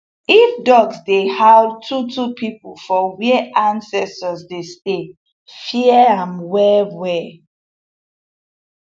if dogs dey howl two two people for where ancestors dey stay fear am well well